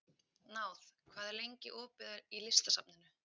Náð, hvað er lengi opið í Listasafninu?